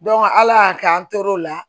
ala y'a kɛ an tor'o la